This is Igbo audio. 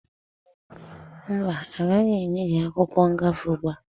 Mba, agaghị enye gị akwụkwọ ngafe ugbua.